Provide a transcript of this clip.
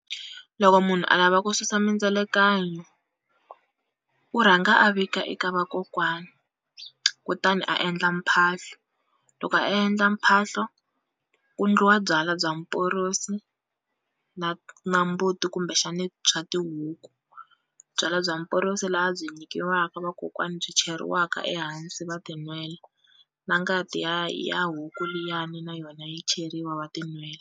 Loko munhu a lava ku susa mindzelekanyo u rhanga a vika eka vakokwani, kutani a endla mphahlo loko a endla mphahlo ku endliwa byalwa bya mporosi na na mbuti kumbexani swa tihuku. Byalwa bya mporosi laha byi nyikiwaka vakokwani byi cheriwaka ehansi va tinwela, na ngati ya ya huku liyani na yona yi cheriwa wa tinwela.